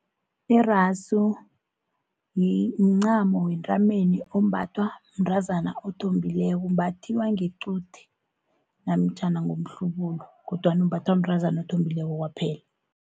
Irasu mncamo wentameni ombathwa mntrazana othombileko, umbathiwa ngequdeni, namtjhana ngomhlubulu kodwana umbathwa mntrazana othombileko kwaphela.